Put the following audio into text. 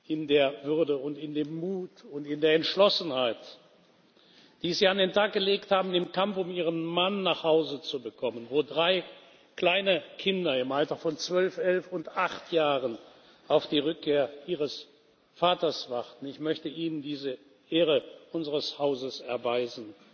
in der Würde, in dem Mut und in der Entschlossenheit, die Sie an den Tag gelegt haben im Kampf, um Ihren Mann nach Hause zu bekommen, wo drei kleine Kinder im Alter von zwölf, elf und acht Jahren auf die Rückkehr ihres Vaters warten, diese Ehre unseres Hauses erweisen.